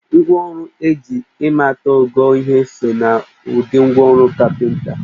Ngwa ọrụ eji ịmata ogo ihe so n'ụdị ngwa ọrọ kapịnta